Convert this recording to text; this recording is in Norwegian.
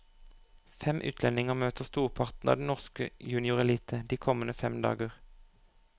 Fem utlendinger møter storparten av den norske juniorelite de kommende fem dager.